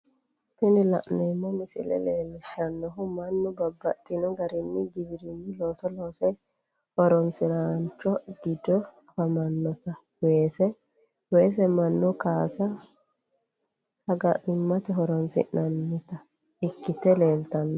Tini la'neemo misile leellishanohu mannu babaxxino garinni giwirinnu loosinni loose horonsiranorichi gido afantanoti weesete, weese manu kaase sagalimate horonsirannotta ikkite leelitano